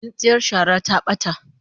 Tsintsiyar shara ta bata